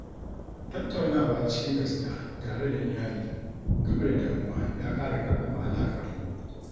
Tattaunawa cikin gaskiya tare da iyali game da damuwa ya ƙara ƙarfafa alaƙarmu.